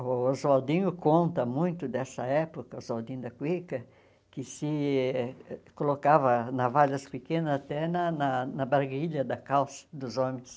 O Oswaldinho conta muito dessa época, Oswaldinho da Cuica, que se colocava navalhas pequenas até na na na barguilha da calça dos homens.